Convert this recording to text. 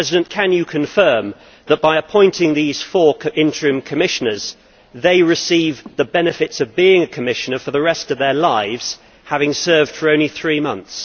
Can you confirm, Mr President, that by appointing these four interim commissioners they will receive the benefits of being a Commissioner for the rest of their lives, having served for only three months?